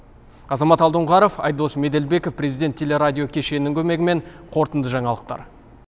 азамат алдоңғаров айдос меделбеков президент телерадио кешенінің көмегімен қорырынды жаңалықтар